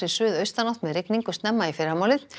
suðaustanátt með rigningu snemma í fyrramálið